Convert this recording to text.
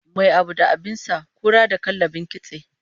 Mai abu da abin sa, kura da kallabin kitse